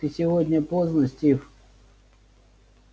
ты сегодня поздно стив